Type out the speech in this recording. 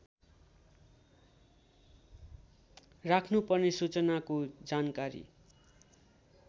राख्नुपर्ने सूचनाको जानकारी